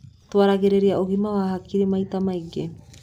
Twaragĩrĩria ũgima wa hakiri maita maigĩ.